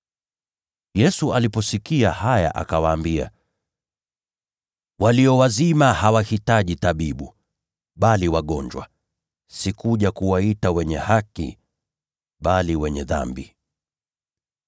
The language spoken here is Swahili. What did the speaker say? Yesu aliposikia haya akawaambia, “Watu wenye afya hawahitaji tabibu, bali walio wagonjwa. Sikuja kuwaita wenye haki, bali wenye dhambi.”